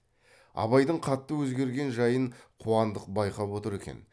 абайдың қатты өзгерген жайын қуандық байқап отыр екен